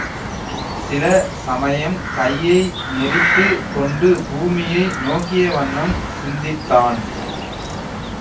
சில சமயம் கையை நெரித்துக் கொண்டு பூமியை நோக்கிய வண்ணம் சிந்தித்தான்